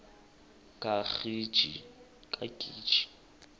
kagiji